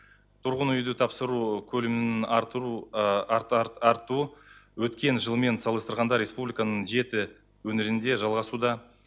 тұрғын үйді тапсыру көлемінің артыру артуы өткен жылмен салыстырғанда республиканың жеті өңірінде жалғасуда